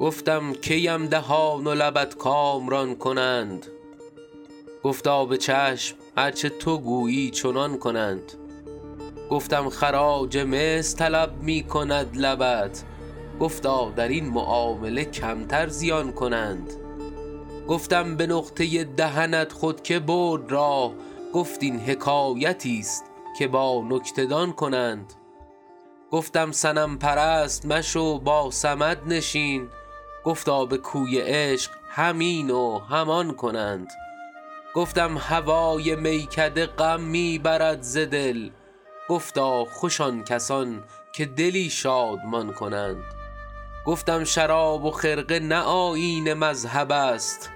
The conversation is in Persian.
گفتم کی ام دهان و لبت کامران کنند گفتا به چشم هر چه تو گویی چنان کنند گفتم خراج مصر طلب می کند لبت گفتا در این معامله کمتر زیان کنند گفتم به نقطه دهنت خود که برد راه گفت این حکایتیست که با نکته دان کنند گفتم صنم پرست مشو با صمد نشین گفتا به کوی عشق هم این و هم آن کنند گفتم هوای میکده غم می برد ز دل گفتا خوش آن کسان که دلی شادمان کنند گفتم شراب و خرقه نه آیین مذهب است